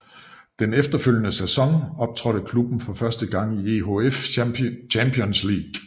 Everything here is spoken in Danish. Den efterfølgende sæson optrådte klubben for første gang i EHF Champions League